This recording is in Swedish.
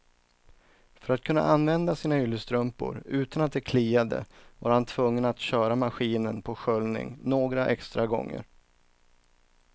För att kunna använda sina yllestrumpor utan att de kliade var han tvungen att köra maskinen på sköljning några extra gånger.